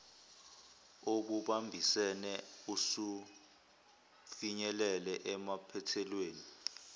obubambisene usufinyelele emaphethelweni